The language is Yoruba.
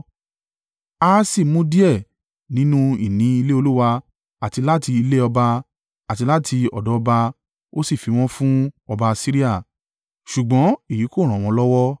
Ahasi mú díẹ̀ nínú ìní ilé Olúwa àti láti ilé ọba àti láti ọ̀dọ̀ ọba ó sì fi wọ́n fún ọba Asiria: ṣùgbọ́n èyí kò ràn wọ́n lọ́wọ́.